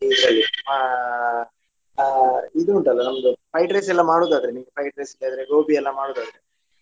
ಇದ್ರಲ್ಲಿ ಅಹ್ ಅಹ್ ಇದು ಉಂಟಲ್ಲ ನಮ್ದು fried rice ಎಲ್ಲಾ ಮಾಡುವುದಾದರೆ ನೀವು fried rice ಬೇರೆ ಗೋಬಿ ಎಲ್ಲ ಮಾಡುದಾದ್ರೆ.